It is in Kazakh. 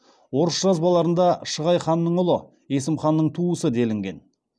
орыс жазбаларында шығай ханның ұлы есім ханның туысы делінген